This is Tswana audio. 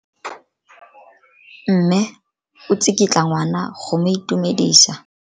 Mme o tsikitla ngwana go mo itumedisa.